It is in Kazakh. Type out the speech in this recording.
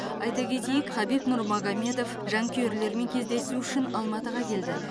айта кетейік хабиб нурмагомедов жанкүйерлерімен кездесу үшін алматыға келді